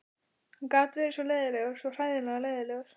Hann gat verið svo leiðinlegur, svo hræðilega leiðinlegur.